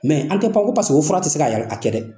an tɛ pan ko fura tɛ se k'a kɛ dɛ!